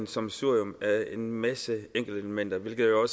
sammensurium er en masse enkeltelementer hvilket jo